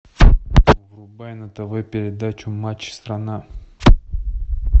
врубай на тв передачу матч страна